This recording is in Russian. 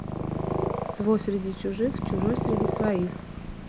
свой среди чужих чужой среди своих